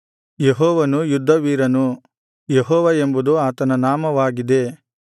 ಯೆಹೋವನು ಯುದ್ಧವೀರನು ಯೆಹೋವ ಎಂಬುದು ಆತನ ನಾಮವಾಗಿದೆ